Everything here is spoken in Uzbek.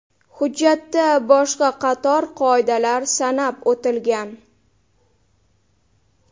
Hujjatda boshqa qator qoidalar sanab o‘tilgan.